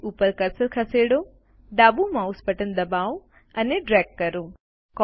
page ઉપર cursor ખસેડો ડાબું માઉસ બટન દબાવો અને ડ્રેગ કરો